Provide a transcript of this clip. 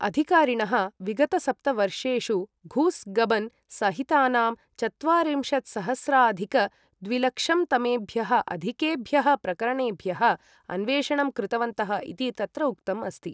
अधिकारिणः विगतसप्तवर्षेषु घूस गबन सहितानाम् चत्वारिंशत्सहस्राधिक द्विलक्षंतमेभ्यः अधिकेभ्यः प्रकरणेभ्यः अन्वेषणं कृतवन्तः इति तत्र उक्तम् अस्ति ।